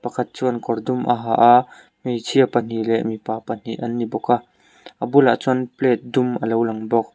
fat chuan kawt dum a ha a hmeichhia pahnih leh mipa pahnih an ni bawk a a bulah chuan plate dum a lo lang bawk.